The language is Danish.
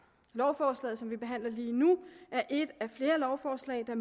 lovforslaget som vi behandler lige nu er et af flere lovforslag der